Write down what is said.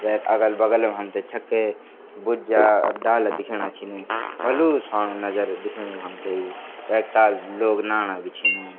वेक अगल-बगल मा हमथे छक्के बुज्ज्या डाला दिखेणा छिन भलू स्वाणु नगर दिखेणु हमथे वेक ताल लोग नाणा भी छिन।